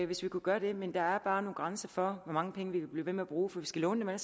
hvis vi kunne gøre det men der er bare nogle grænser for hvor mange penge vi vil blive ved med at bruge for vi skal låne